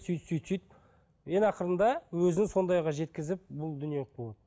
сөйтіп сөйтіп сөйтіп ең ақырында өзін сондай жағдайға жеткізіп бұл дүниелік болады